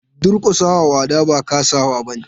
Durkusa wa wada ba kasawa bane.